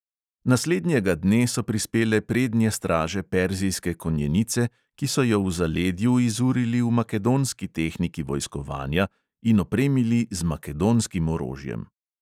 Naslednjega dne so prispele prednje straže perzijske konjenice, ki so jo v zaledju izurili v makedonski tehniki vojskovanja in opremili z makedonskim orožjem.